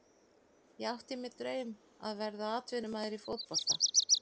Ég átti mér draum að verða atvinnumaður í fótbolta.